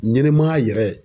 Ɲɛnɛmaya yɛrɛ